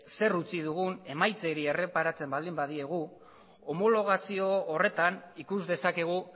zer utzi dugun emaitzei erreparatzen baldin badiegu homologazio horretan ikus dezakegu